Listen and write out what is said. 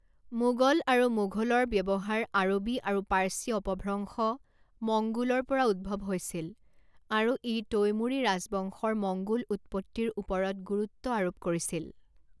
মোগল আৰু মোঘুলৰ ব্যৱহাৰ আৰবী আৰু পাৰ্চী অপভ্ৰংশ মঙ্গোলৰ পৰা উদ্ভৱ হৈছিল, আৰু ই তৈমুৰী ৰাজবংশৰ মঙ্গোল উৎপত্তিৰ ওপৰত গুৰুত্ব আৰোপ কৰিছিল।